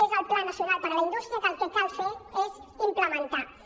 és el pla nacional per a la indústria que el que cal fer és implementar lo